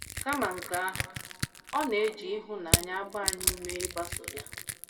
Kama nke ahụ, ọ na - eji ịhụnanya agba anyị ume ịgbaso ya.